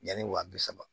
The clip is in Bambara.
Yanni wa bi saba